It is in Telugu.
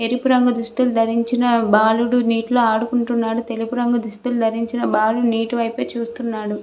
ఎరుపు రంగు దుస్తులు ధరించిన బాలుడు నీటిలో ఆడుకుంటున్నాడు తెలుపు రంగు దుస్తులు ధరించిన బాలుడు నీటి వైపే చూస్తున్నాడు.